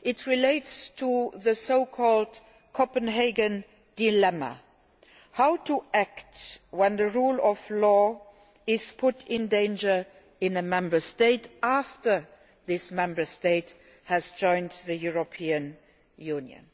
It relates to the so called Copenhagen dilemma how to act when the rule of law is put in danger in a Member State after this Member State has joined the European Union.